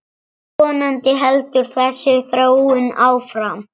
Vonandi heldur þessi þróun áfram.